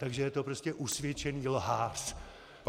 Takže je to prostě usvědčený lhář!